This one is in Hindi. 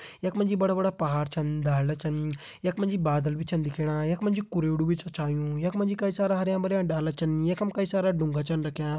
यखमा जी बड़ा-बड़ा पहाड़ छन डालडा छन यखमा जी बादल भी छन दिखेणा यखमा जी कुरेड़ू भी च छायुं यखमा जी कई सारा हरयां-भरयां डाला छन यखम कई सारा ढूँगा छन राख्यां।